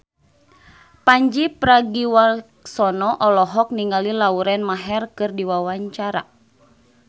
Pandji Pragiwaksono olohok ningali Lauren Maher keur diwawancara